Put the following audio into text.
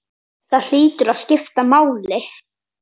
Það hlýtur að skipta máli?